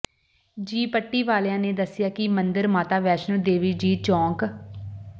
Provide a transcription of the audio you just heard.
ਜੀ ਪੱਟੀ ਵਾਲਿਆ ਨੇ ਦੱਸਿਆ ਕਿ ਮੰਦਰ ਮਾਤਾ ਵੈਸ਼ਨੋ ਦੇਵੀ ਜੀ ਚੌਂਕ